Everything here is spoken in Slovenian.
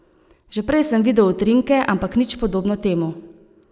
Že prej sem videl utrinke, ampak nič podobno temu.